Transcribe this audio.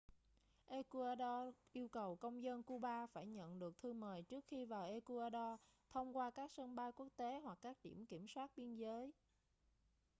ecuador yêu cầu công dân cuba phải nhận được thư mời trước khi vào ecuador thông qua các sân bay quốc tế hoặc các điểm kiểm soát biên giới